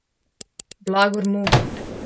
Blagor mu.